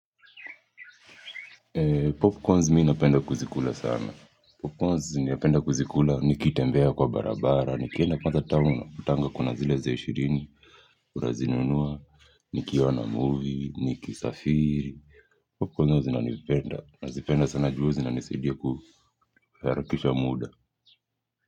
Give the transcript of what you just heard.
Popcornz mimi napenda kuzikula sana. Popcornz ninapenda kuzikula nikitembea kwa barabara, nikenda kwanza town nakutanga kuna zile za ishirini, unazi nunuwa nikiona movie, nikisafiri. Popcornz ni nazipenda, nazipenda sana juu huwa zina nisaidia kuharakisha muda.